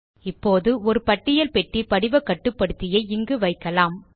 இப்போது ஒரு பட்டியல் பெட்டி படிவ கட்டுப்படுத்தியை இங்கு வைக்கலாம்